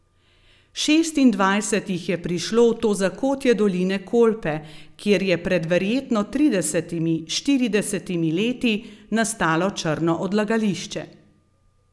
Šestindvajset jih je prišlo v to zakotje doline Kolpe, kjer je pred verjetno tridesetimi, štiridesetimi leti nastalo črno odlagališče.